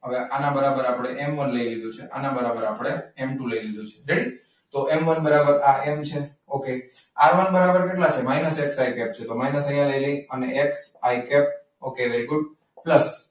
હવે આના બરાબર આપણે એમ વન લઈ લીધું છે. આના બરાબર આપણે એમ ટુ લઈ લીધું છે. ready? તો એમ વન બરાબર એમ છે okay આર વન બરાબર કેટલા છે?